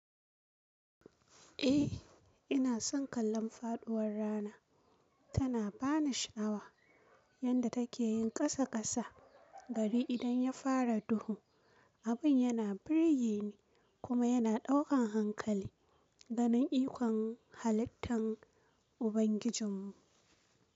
Eh, ina son kallon faɗuwar rana. Tana bani sha'awa yanda take yin ƙasa ƙasa gari idan ya fara duhu. Abin yana birgene kuma yana ɗaukan hankali ganin ikon halittan Ubangijinmu.